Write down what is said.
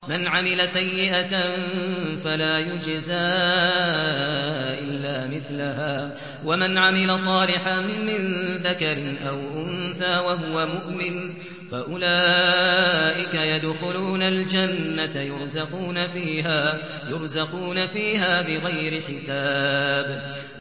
مَنْ عَمِلَ سَيِّئَةً فَلَا يُجْزَىٰ إِلَّا مِثْلَهَا ۖ وَمَنْ عَمِلَ صَالِحًا مِّن ذَكَرٍ أَوْ أُنثَىٰ وَهُوَ مُؤْمِنٌ فَأُولَٰئِكَ يَدْخُلُونَ الْجَنَّةَ يُرْزَقُونَ فِيهَا بِغَيْرِ حِسَابٍ